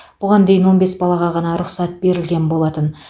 бұған дейін он бес балаға ғана рұқсат берілген болатын